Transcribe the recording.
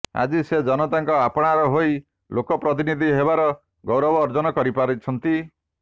ଆଜି ସେ ଜନତାଙ୍କ ଆପଣାର ହୋଇ ଲୋକ ପ୍ରତିନିଧି ହେବାର ଗୌରବ ଅର୍ଜନ କରିପାରିଛନ୍ତି